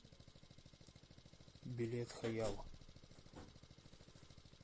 билет хаял